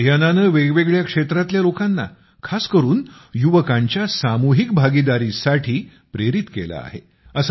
या अभियानानं वेगवेगळ्या क्षेत्रातल्या लोकांना खास करून युवकांच्या सामूहिक भागीदारीसाठी प्रेरित केलं आहे